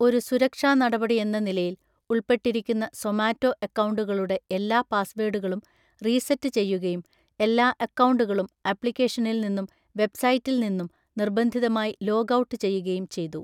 ഒരു സുരക്ഷാ നടപടിയെന്ന നിലയിൽ, ഉൾപ്പെട്ടിരിക്കുന്ന സൊമാറ്റോ അക്കൗണ്ടുകളുടെ എല്ലാ പാസ്‌വേഡുകളും റീസെറ്റ് ചെയ്യുകയും എല്ലാ അക്കൗണ്ടുകളും ആപ്ലിക്കേഷനിൽ നിന്നും വെബ്‌സൈറ്റിൽ നിന്നും നിർബന്ധിതമായി ലോഗ് ഔട്ട് ചെയ്യുകയും ചെയ്തു.